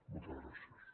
moltes gràcies